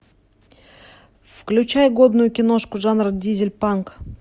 включай годную киношку жанра дизель панк